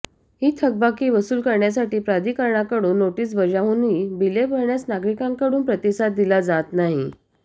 ही थकबाकी वसूल करण्यासाठी प्राधिकरणाकडून नोटीस बजावूनही बिले भरण्यास नागरिकांकडून प्रतिसाद दिला जात नाही